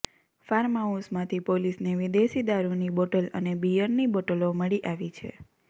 ફાર્મહાઉસમાંથી પોલીસને વિદેશી દારૂની બોટલ અને બિયરની બોટલો મળી આવી છે